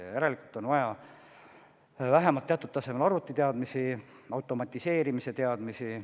Ja järelikult on vaja vähemalt teatud tasemel arvutiteadmisi, automatiseerimise teadmisi.